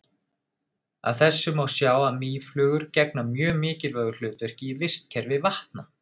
Af þessu má sjá að mýflugur gegna mjög mikilvægu hlutverki í vistkerfi vatna.